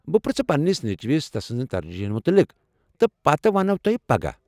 بہٕ پرٛژھٕ پنٛنس نیٚچوِس تسٕنٛزن ترجیحن متعلق تہٕ پتہٕ ونووٕ تۄہہ پگاہ۔